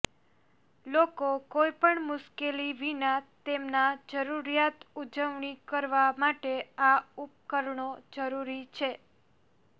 લોકો કોઈપણ મુશ્કેલી વિના તેમના જરૂરિયાત ઉજવણી કરવા માટે આ ઉપકરણો જરૂરી છે